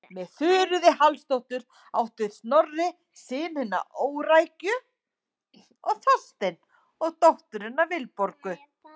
Með Þuríði Hallsdóttur átti Snorri synina Órækju og Þorstein og dótturina Vilborgu.